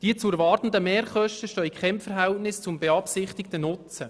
Die zu erwartenden Mehrkosten stehen in keinem Verhältnis zum beabsichtigten Nutzen.